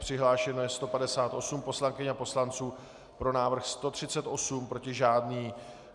Přihlášeno je 158 poslankyň a poslanců, pro návrh 138, proti žádný.